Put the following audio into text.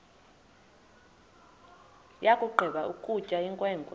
yakugqiba ukutya inkwenkwe